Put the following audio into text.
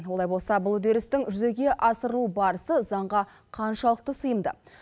олай болса бұл үдерістің жүзеге асырылу барысы заңға қаншалықты сыйымды